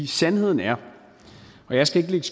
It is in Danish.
sandheden er og jeg skal ikke